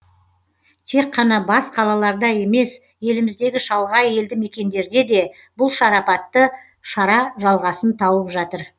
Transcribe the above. тек қана бас қалаларда емес еліміздегі шалғай елді мекендерде де бұл шарапатты шара жалғасын тауып жатыр